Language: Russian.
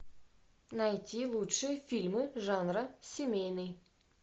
найти лучшие фильмы жанра семейный